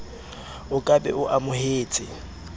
o ka be o amohetse